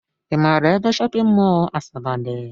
I maara ebe shọpịn mọl Asaba dị?